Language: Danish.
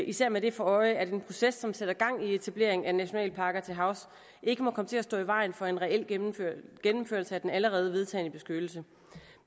især med det for øje at en proces som sætter gang i etablering af nationalparker til havs ikke må komme til at stå i vejen for en reel gennemførelse gennemførelse af den allerede vedtagne beskyttelse